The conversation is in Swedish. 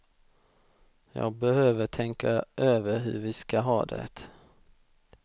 Jag behöver tänka över hur vi ska ha det.